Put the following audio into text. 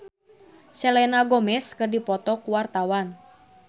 Gilang Ramadan jeung Selena Gomez keur dipoto ku wartawan